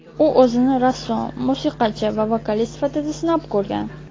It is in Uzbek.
U o‘zini rassom, musiqachi va vokalist sifatida sinab ko‘rgan.